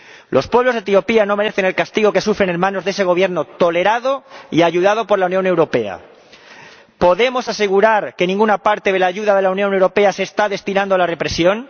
Los pueblos de Etiopía no merecen el castigo que sufren en manos de ese Gobierno tolerado y ayudado por la Unión Europea. ¿Podemos asegurar que ninguna parte de la ayuda de la Unión Europea se está destinando a la represión?